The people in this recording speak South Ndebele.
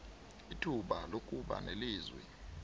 ithuba lokuba nelizwi